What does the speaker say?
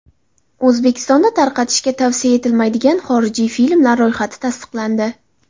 O‘zbekistonda tarqatishga tavsiya etilmaydigan xorijiy filmlar ro‘yxati tasdiqlandi .